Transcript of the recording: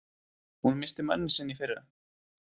Hún missti manninn sinn í fyrra.